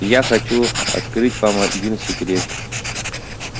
и я хочу открыть вам один секрет